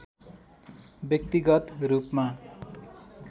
व्यक्तिगत रूपमा